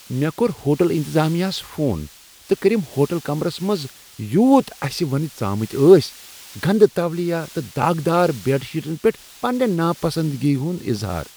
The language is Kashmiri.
مےٚ کوٚر ہوٹل انتظامیہ ہَس فون تہٕ کٔرِم ہوٹل کمرس منٛز یوٗت اسہِ ونہِ ژامٕتۍ ٲسۍ گندٕ تولِیا تہٕ داغدار بیڈ شیٹن پیٹھ پننہِ ناپسندیدگی ہُنٛد اظہار ۔